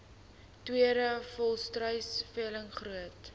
tweede volstruisveiling groot